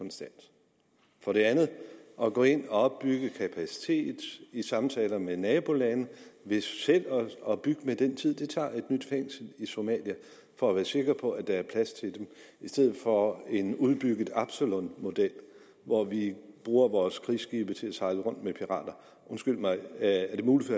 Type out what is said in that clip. for det andet at gå ind og opbygge kapacitet i samtaler med nabolande ved selv at bygge med den tid det tager et nyt fængsel i somalia for at være sikker på at der er plads til dem i stedet for en udbygget absalonmodel hvor vi bruger vores krigsskibe til at sejle rundt med pirater undskyld mig er det muligt